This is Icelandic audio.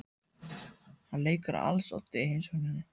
Hann leikur á als oddi í heimsókninni.